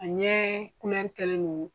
A ɲɛ kɛlen do.